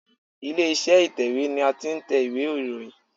Ilé iṣẹ́ ìtẹ̀wẹ́ ni a ti ń tẹ ìwé ìròyìn.